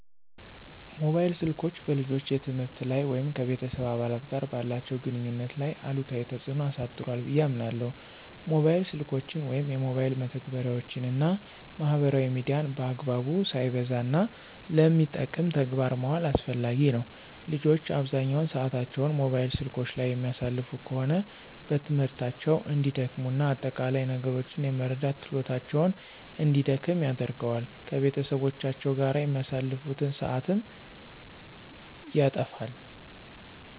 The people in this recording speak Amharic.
ሞባይል ስልኮች በልጆች የትምህርት ላይ ወይም ከቤተሰብ አባላት ጋር ባላቸው ግንኙነት ላይ አሉታዊ ተጽዕኖ አሳድሯ ብየ አምናለሁ። ሞባይል ስልኮችን ወይም የሞባይል መተግበሪያወችን እና ማህበራዊ ሚዲያን በአግባቡ፣ ሳይበዛ፣ እና ለሚጠቅም ተግባር ማዋል አስፈላጊ ነው። ልጆች አብዛኛውን ሰአታቸውን ሞባይል ስልኮች ላይ የሚያሳልፉ ከሆነ በትምህርታቸው እንዲደክሙ እና አጠቃላይ ነገሮችን የመረዳት ችሎታቸውን እንዲደክም ያደርገዋል። ከቤተሰቦቻቸው ጋር የሚያሳልፉትን ሰአትም ያተፋል።